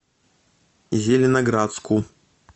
зеленоградску